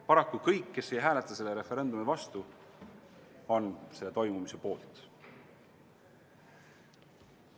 Paraku kõik, kes ei hääleta selle referendumi vastu, on selle toimumise poolt.